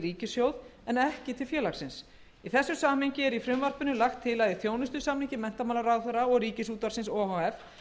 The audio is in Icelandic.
ríkissjóð en ekki til félagsins í þessu samhengi er í frumvarpinu lagt til að í þjónustusamningi menntamálaráðherra og ríkisútvarpsins o h f